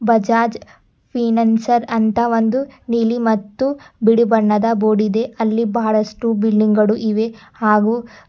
Bajaj financer ಅಂತ ಒಂದು ನೀಲಿ ಮತ್ತು ಬಿಳಿ ಬಣ್ಣದ ಬೋರ್ಡಿದೆ ಅಲ್ಲಿ ಬಹಳಷ್ಟು ಬಿಲ್ಡಿಂಗ್ ಗಳು ಇವೆ ಹಾಗೂ--